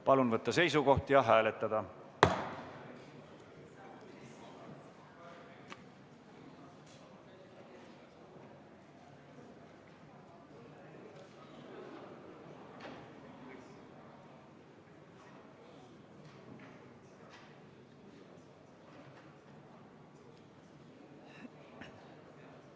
Palun võtta seisukoht ja hääletada!